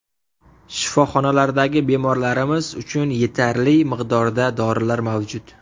Shifoxonalardagi bemorlarimiz uchun yetarli miqdorda dorilar mavjud.